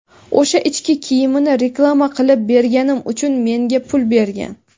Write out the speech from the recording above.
O‘sha ich kiyimini reklama qilib berganim uchun menga pul bergan.